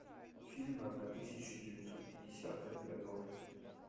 фильмы одна тысяча девятьсот пятидесятых годов